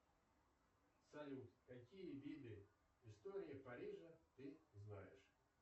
салют какие виды истории парижа ты знаешь